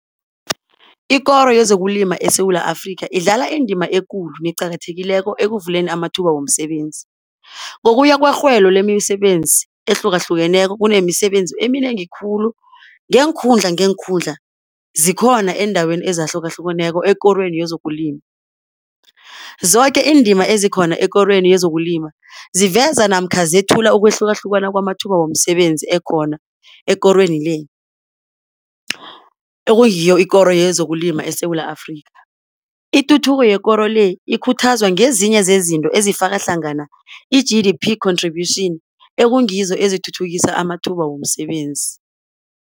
Ikoro yezokulima eSewula Afrika idlala indima ekulu neqakathekileko ekuvuleni amathuba womsebenzi. Ngokuya kwerhwelo lemisebenzi ehlukahlukeneko kunemisebenzi eminengi khulu ngeenkhundla ngeenkhundla zikhona eendaweni ezahlukahlukeneko ekorweni yezokulima. Zoke iindima ezikhona ekorweni yezokulima ziveza namkha zethula ukwehlukahlukana kwamathuba womsebenzi ekhona ekorweni le, ekungiyo ikoro yezokulima eSewula Afrika. Ituthuko yekoro le ikhuthazwa ngezinye zezinto ezifaka hlangana i-G_D_P contribution ekungizo ezithuthukisa amathuba womsebenzi.